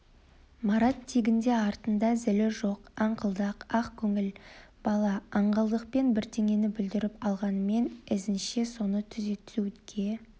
марат тегінде артында зілі жоқ аңқылдақ ақ көңіл бала аңғалдықпен бірдеңені бүлдіріп алғанымен ізінше соны түзетуге